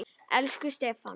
Elsku Stefán.